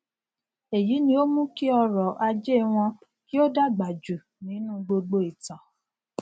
èyí ni o mú kí ọrọ ajẹ wọn kì o dàgbà jù nínú gbogbo ìtàn